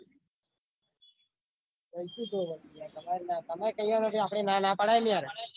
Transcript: તમે તૈયાર હો એટલે આપદ એ ના પડે નઈ ને યાર